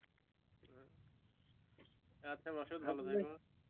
আচ্ছা ভালো থেকো